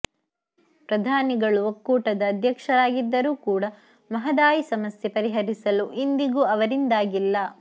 ಪ್ರಧಾನಿಗಳು ಒಕ್ಕೂಟದ ಅದ್ಯಕ್ಷರಾಗಿದ್ದರೂ ಕೂಡಾ ಮಹದಾಯಿ ಸಮಸ್ಯೆ ಪರಿಹರಿಸಲು ಇಂದಿಗೂ ಅವರಿಂದಾಗಿಲ್ಲ